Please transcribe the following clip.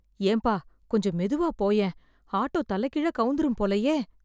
ஏன்பா, கொஞ்சம் மெதுவா போயேன், ஆட்டோ தலைகீழா கவுந்துரும் போலயே.